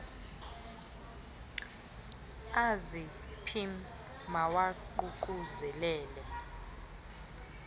azi pim mawaququzelelel